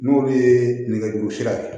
N'olu ye nɛgɛjuru sira ye